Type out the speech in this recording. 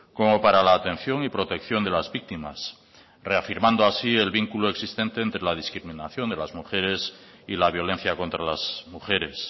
como para la atención y protección de las víctimas reafirmando así el vínculo existente entre la discriminación de las mujeres y la violencia contra las mujeres